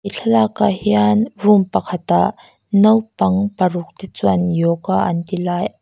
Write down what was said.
thlalak ah hian room pakhat ah naupang paruk te chuan yoga an ti lai--